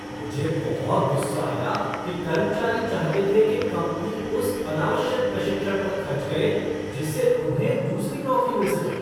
मुझे बहुत गुस्सा आया कि कर्मचारी चाहते थे कि कंपनी उस अनावश्यक प्रशिक्षण पर खर्च करे जिससे उन्हें दूसरी नौकरी मिल सके।